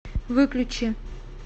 выключи